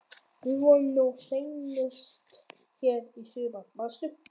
Við vorum nú seinast hér í sumar, manstu?